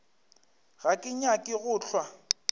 ga ke nyake go hlwa